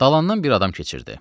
Dalandan bir adam keçirdi.